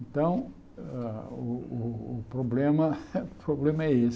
Então, ah o o o problema o é esse